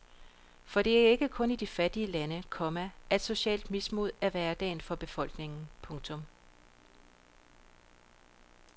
For det er ikke kun i de fattige lande, komma at socialt mismod er hverdagen for befolkningen. punktum